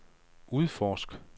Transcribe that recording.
udforsk